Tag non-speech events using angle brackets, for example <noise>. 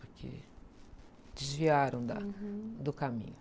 Porque desviaram da do caminho. <unintelligible>